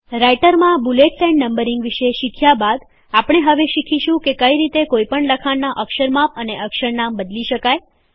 રાઈટરમાં bullets and numbering વિષે શીખ્યા બાદ આપણે હવે શીખીશું કે કઈ રીતે કોઈપણ લખાણનાં અક્ષર માપ અને અક્ષર નામ બદલી શકાય